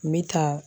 N bɛ taa